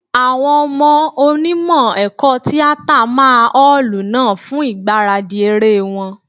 Àwọn ọmọ Onímọ̀ ẹ̀kọ́ tíátà máa ọ́ọ̀lù náà fún ìgbáradì eré wọn.